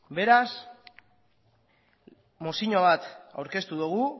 beraz mozio bat aurkeztu dugu